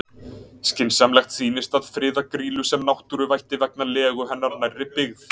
Skynsamlegt sýnist að friða Grýlu sem náttúruvætti vegna legu hennar nærri byggð.